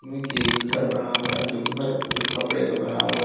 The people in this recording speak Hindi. ये एक घर बना हुआ है जो घर पूरे खपड़े का बना हुआ है।